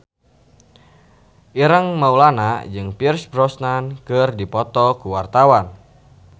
Ireng Maulana jeung Pierce Brosnan keur dipoto ku wartawan